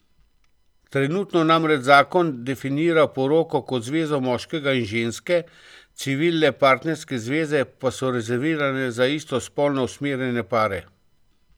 Trenutno namreč zakon definira poroko kot zvezo moškega in ženske, civilne partnerske zveze pa so rezervirane za istospolno usmerjene pare.